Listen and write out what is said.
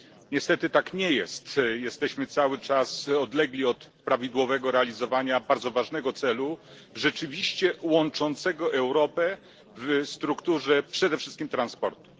Niestety, tak nie jest. Jesteśmy cały czas dalecy od prawidłowego realizowania bardzo ważnego celu, rzeczywiście łączącego Europę w strukturze przede wszystkim transportu.